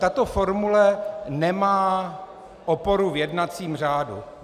Tato formule nemá oporu v jednacím řádu.